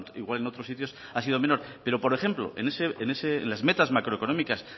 igual en otros sitios ha sido menor pero por ejemplo en las metas macroeconómicas